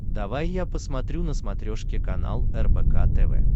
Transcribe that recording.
давай я посмотрю на смотрешке канал рбк тв